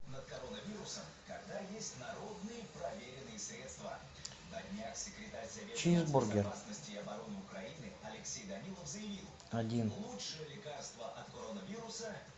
чизбургер один